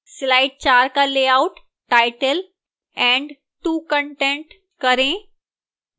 slide 4 का layout title and 2 content करें